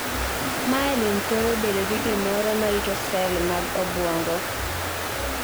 Myelin thoro bedo gi gimoro ma rito sel mag obwongo.